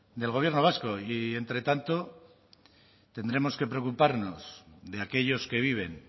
del gobierno vasco y entre tanto tendremos que preocuparnos de aquellos que viven